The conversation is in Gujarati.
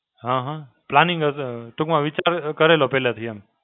હાં હાં, Planning હશે કે હું આવી રીતે કર, કરી લઉં પહેલાથી એમ.